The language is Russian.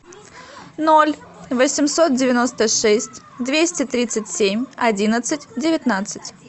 ноль восемьсот девяносто шесть двести тридцать семь одиннадцать девятнадцать